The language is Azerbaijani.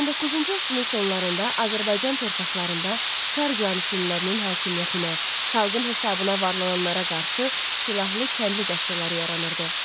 19-cu əsrin sonlarında Azərbaycan torpaqlarında çar caniçinlilərinin hakimiyyətinə, xalqın hesabına varlananlara qarşı silahlı kəndli dəstələri yaranırdı.